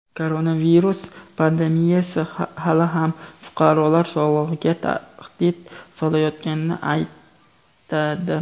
koronavirus pandemiyasi hali ham fuqarolar sog‘lig‘iga tahdid solayotganini aytadi.